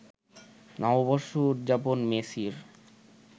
নববর্ষ উদযাপন মেসির